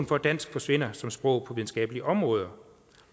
for at dansk forsvinder som sprog på videnskabelige områder